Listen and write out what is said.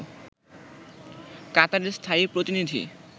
কাতারের স্থায়ী প্রতিনিধি